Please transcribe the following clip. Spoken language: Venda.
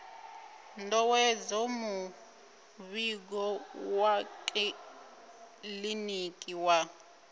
ndovhedzo muvhigo wa kiḽiniki wa